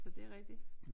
Så det er rigtigt